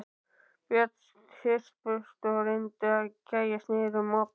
Börnin þyrptust að og reyndu að gægjast niður um opið.